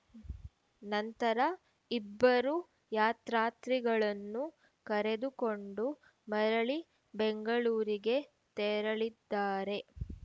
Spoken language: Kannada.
ನಂತರ ಇಬ್ಬರೂ ಯಾತ್ರಾತ್ರಿಗಳನ್ನು ಕರೆದುಕೊಂಡು ಮರಳಿ ಬೆಂಗಳೂರಿಗೆ ತೆರಳಿದ್ದಾರೆ